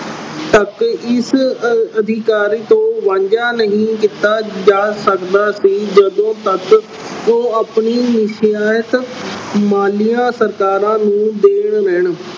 ਅਤੇ ਇਸ ਅਧਿਕਾਰ ਅਹ ਤੋਂ ਵਾਂਝਾ ਨਹੀਂ ਕੀਤਾ ਜਾ ਸਕਦਾ ਸੀ ਜਦੋਂ ਤੱਕ ਉਹ ਆਪਣੀ ਮਾਲੀਆਂ ਸਰਕਾਰਾਂ ਨੂੰ ਦੇਣ ਲੈਣ।